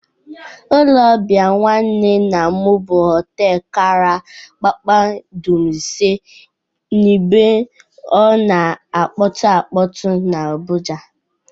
Ụlọ ọbịa nwanne nnam bụ hoteelu akara kpakpando ise n'ebe ọ na-akpọtụ akpọtụ n'Abụja.